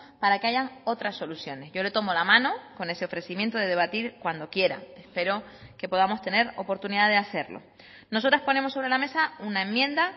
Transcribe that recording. para que haya otras soluciones yo le tomo la mano con ese ofrecimiento de debatir cuando quiera pero que podamos tener oportunidad de hacerlo nosotras ponemos sobre la mesa una enmienda